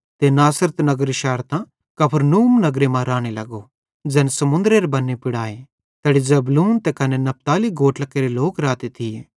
ते नासरत नगर शैरतां कफरनहूम नगरे मां राने लगो ज़ैन समुन्दरेरे बन्ने पुड़ आए ज़ैड़ी जबूलून ते कने नप्ताली गोत्रेरे लोक राते थिये